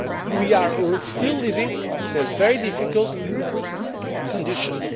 We are still living in very difficult conditions.